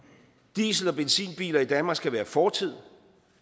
diesel og benzinbiler i danmark skal være fortid